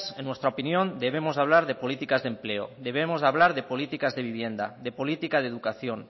en nuestra opinión debemos de hablar de políticas de empleo debemos de hablar de políticas de vivienda de política de educación